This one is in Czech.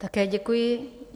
Také děkuji.